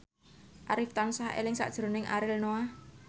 Arif tansah eling sakjroning Ariel Noah